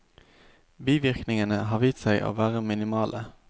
Bivirkningene har vist seg å være minimale.